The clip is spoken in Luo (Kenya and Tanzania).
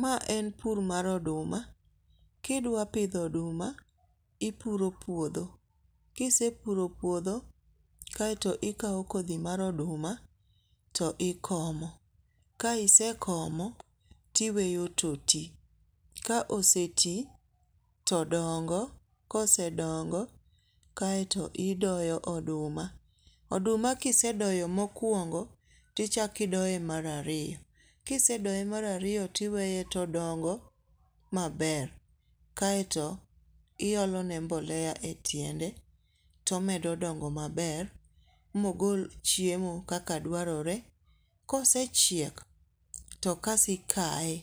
Ma en pur mar oduma, kidwapitho oduma ipuro puotho, kisepuro puotho kaeto ikawo kothi mar oduma to ikomo, ka isekomo tiweyo to ti ka oseti, to dong'o ka ose dongo kaeto idoyo oduma, oduma kisedoyo mokuongo, tichaki doye mar ariyo, kisedoye mar ariyo tiweye todongo maber, kaeto iolone mbolea e tiende tomedo dongo maber mogol chiemo kaka dwarore, kosechiel to kasto ikaye,